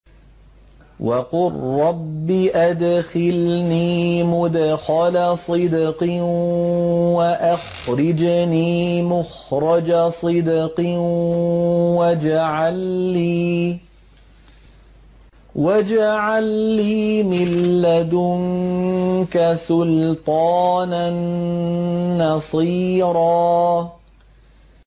وَقُل رَّبِّ أَدْخِلْنِي مُدْخَلَ صِدْقٍ وَأَخْرِجْنِي مُخْرَجَ صِدْقٍ وَاجْعَل لِّي مِن لَّدُنكَ سُلْطَانًا نَّصِيرًا